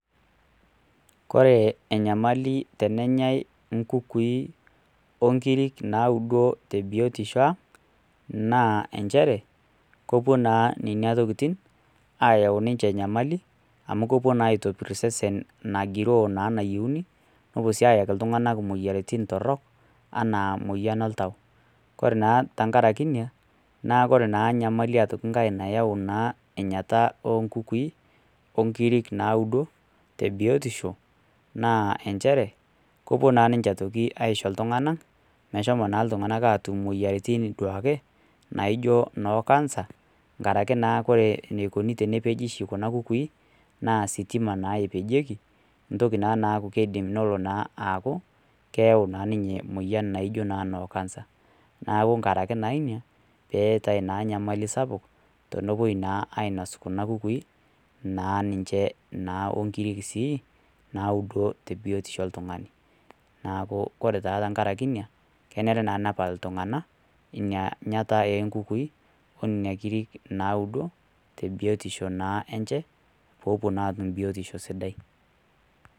Ore enyamali tenenyai inkukui o nkirik naudo te biotisho aang', naa nchere, kepuo naa nena tokitin ayau ninche enyamali, amu kepuo naa aitopir osesen nagiroo naa enayieuni, nepuo sii ayaki iltung'ana imoyiaritin torok, anaa emoyian oltau. Kore naa tenkaraki ina, naa kore naa enkai nyamali aitoki nayau naa enyata oo nkukui, o inkirik naudo, te biotisho naa nchere, kepuo naa niche aitoki aisho iltung'ana, meshomo naa iltung'ana aatum imoyiaritin duake naijo noo Cancer, enkaraki naa ore eneikuni oshi tenepeji kuna kukui, naa ositima naa epejieki, entoki naa naaku naa keidim nelo aaku keyau naa ninye emoyian naijo noo Cancer. Neaku naa enkarake naa ina, peatai naa enyamali sapuk, tenepuoi naa ainos kuna kukui, naa ninche o inkirik sii naudo te biotisho oltung'ani. Neaku naa ore naa tenkaraki ina, enare naa nepal iltung'ana ina nyaata oo nkukui, o nena kirik naudo, te biotisho naa enye, peepuo naa atum biotisho sidai.